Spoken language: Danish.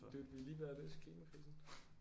Dude vi er lige ved at løse klimakrisen